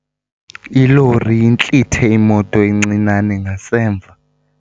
Ilori intlithe imoto encinane ngasemva.